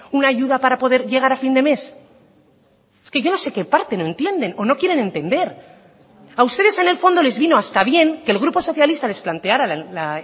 una ayuda para poder llegar a fin de mes es que yo no sé qué parte no entienden o no quieren entender a ustedes en el fondo les vino hasta bien que el grupo socialista les planteara la